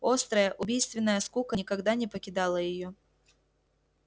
острая убийственная скука никогда не покидала её